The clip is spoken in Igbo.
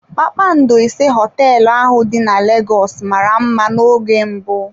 Kpakpando ise hoteelu ahụ dị na Lagos mara mma n'oge mbụ.